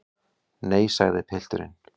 Nei, sagði pilturinn.